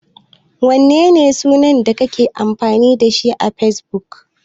Menene sunan da kake amfani da shi a Fesbuk?